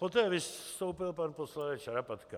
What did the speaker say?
Poté vystoupil pan poslanec Šarapatka.